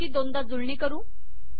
याची दोनदा जुळणी करू